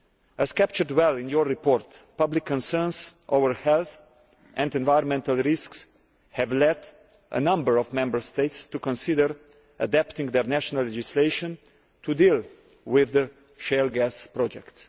As captured well in your report, public concerns over health and environmental risks have led a number of Member States to consider adapting their national legislation to deal with shale gas projects.